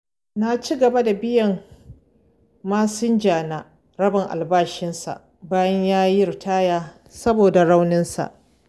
Na ci gaba da biyan masinjana rabin albashinsa, bayan yayi ritaya, saboda rauninsa.